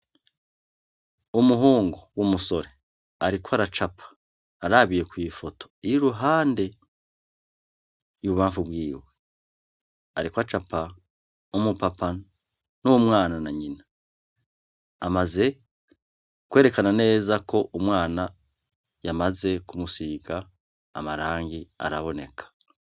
Umuhungu w'umusore ariko aracapa arabiye kwi foto y'iruhande, ibubamfu bwiwe. Ariko acapa umu papa n'umwana na nyina. Amaze kwerekana neza ko umwana yamaze kumusiga amarangi araboneka.